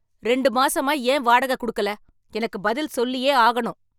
ரெண்டு மாசமா ஏன் வாடகை கொடுக்கல? எனக்கு பதில் சொல்லியே ஆகணும்.